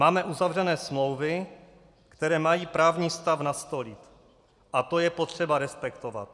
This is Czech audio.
Máme uzavřené smlouvy, které mají právní stav nastolit, a to je potřeba respektovat.